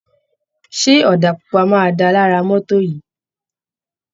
Ṣé ọ̀dà pupa máa dáa lára mọ́tò yìí.?